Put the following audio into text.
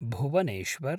Bhubaneswar